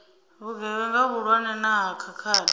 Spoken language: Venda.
vhugevhenga vhuhulwane na ha khakhathi